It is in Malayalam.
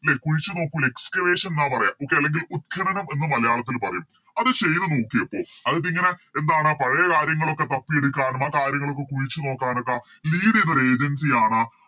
ലെ കുഴിച്ച് നോക്കു ലെ Excavation ന്ന പറയാ okay അല്ലെങ്കിൽ ഉദ്ഘനനം എന്ന് മലയാളത്തില് പറയും അത് ചെയ്തു നോക്കിയപ്പോ അതിപ്പോ ഇങ്ങനെ എന്താണ് പഴയ കാര്യങ്ങളൊക്കെ തപ്പിയെടുക്കാനും ആ കാര്യുങ്ങളൊക്കെ കുഴിച്ച് നോക്കാനോക്കെ Lead ചെയ്യുന്നൊരു Agency ആണ്